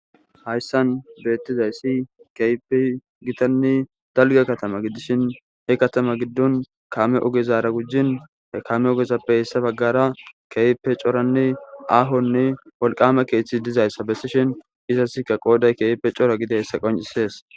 Hayssan beettizayssi keype gitanne dalge katama gidishin he katama giddon kaame ogezara gujjin kaame ogezappe hessa baggara keype coranne ahonne wolqama keeththi dizayssa bessishin izaska qooday keepe cora gide hessa qoncisees.